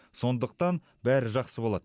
сондықтан бәрі жақсы болады